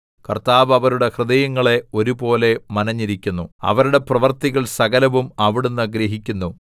കർത്താവ് അവരുടെ ഹൃദയങ്ങളെ ഒരുപോലെ മനഞ്ഞിരിക്കുന്നു അവരുടെ പ്രവൃത്തികൾ സകലവും അവിടുന്ന് ഗ്രഹിക്കുന്നു